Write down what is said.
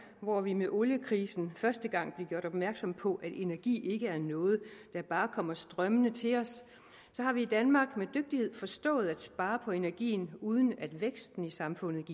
hvor vi med oliekrisen første gang blev gjort opmærksom på at energi ikke er noget der bare kommer strømmende til os har vi i danmark med dygtighed forstået at spare på energien uden at væksten i samfundet